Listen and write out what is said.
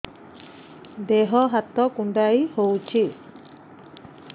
ଦେହ ହାତ କୁଣ୍ଡାଇ ହଉଛି